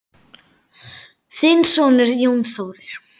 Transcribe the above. Þinn sonur, Jón Þórir.